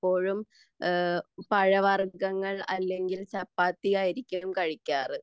പഴവർഗ്ഗങ്ങൾ അല്ലെങ്കിൽ ചപ്പാത്തി ആയിരിക്കും കഴിക്കാറ്